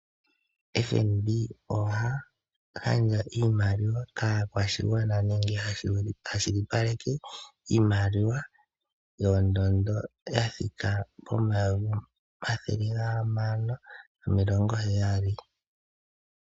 FNB oha gandja iimaliwa kaakwashigwana nenge ha kwashilipaleke iimaliwa yondondo ya thika pomayovi omathele gahamano nomilongo heyali.